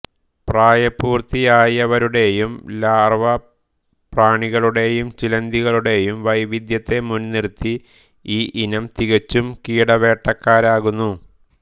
പ്രായപൂർത്തിയായവരുടെയും larva പ്രാണികളുടെയും ചിലന്തികളുടെയും വൈവിധ്യത്തെ മുൻനിർത്തി ഈ ഇനം തികച്ചും കീടവേട്ടക്കാരനാകുന്നു